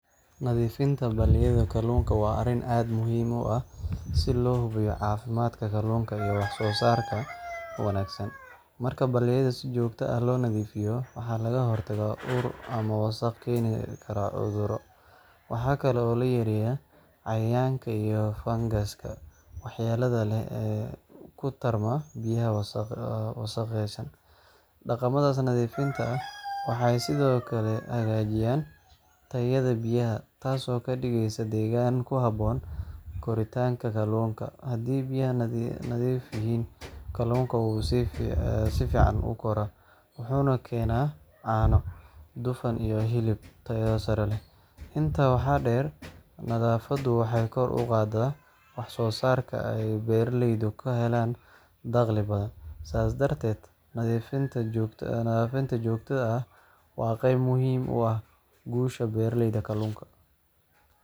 Nadiifinta balliyada kallunka wa arin aad muxiim u ah, si lohubiyo cafimadka kallunka iyo wax sosarka wanagsan, marka balliyada si jogta ah lonadifiyo lagahortago cuduro waxakale oo layareya jermiska waxyalaha leh ee kutarma biyaha wasaqeysan, daqamadas nadiifinta ha waxa kale ay hagajisa tayada biyaha tass oo kadigeysa degan kuhaboon kalunka, biya ay nadiif yixiin waxay si fican ukoran waxayna lagahela dufaan iyo suwaaq, inta waxa deer nadafadu waxay kor ugadaa waxsosarka ay beraha kahelaan daqli fican, sas darded nadifinta jogtada ah wa geb muxiim u ah gusha kalunka.